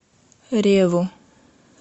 реву